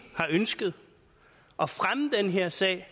har ønsket at fremme den her sag